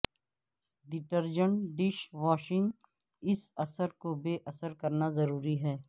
detergent dish washing اس اثر کو بے اثر کرنا ضروری ہے